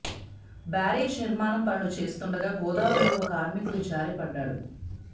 barrage నిర్మాణం పనులు చేస్తుండగా గోదావరిలో ఒక కార్మికుడు జారి పడ్డాడు